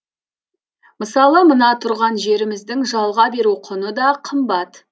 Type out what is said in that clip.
мысалы мына тұрған жеріміздің жалға беру құны да қымбат